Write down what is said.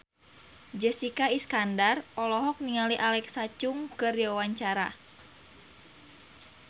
Jessica Iskandar olohok ningali Alexa Chung keur diwawancara